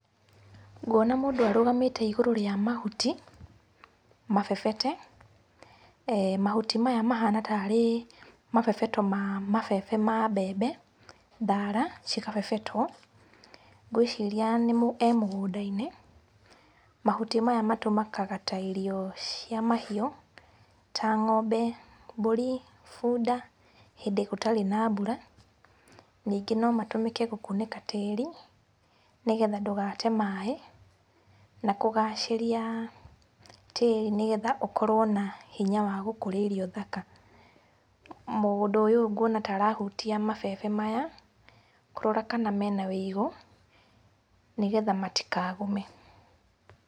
Nguona mũndũ arũgamĩte igũrũ rĩa mahuti mabebete, mahuti maya mahana tarĩ mabebeto ma mabebe ma mbembe thara cigabebetwo. Ngwĩciria e mũgũnda-inĩ, mahuti maya matũmĩkaga ta irio cia mahiũ ta ng'ombe, mbũri, bunda hĩndĩ gũtarĩ na mbũra. Ningĩ no matũmĩke gũkunĩka tĩri nĩgetha ndũgate maĩ na kũgacĩria tĩri nĩgetha ũkorwo na hinya wagũkũria irio thaka. Mũndũ ũyũ ngũona na ta arahutia mabebe maya kũrora kana mena wĩigũ nĩgetha matikagume.